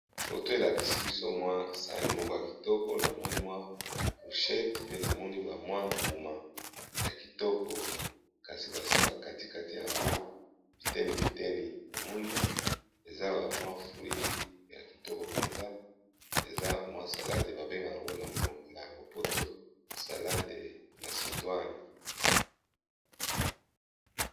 Photo elakisi biso ka MWA Sahani Moko ya Kitoko Ezra na kati Nango salade oyi bambengako tango na moni ko ya lopoto masedwane